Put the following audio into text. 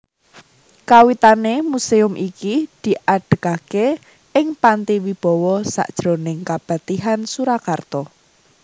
Kawitané muséum iki diadegaké ing Panti Wibawa sajroning Kapatihan Surakarta